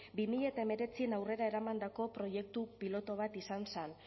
bi mila hemeretzian aurrera eramandako proiektu pilotu bat izan zen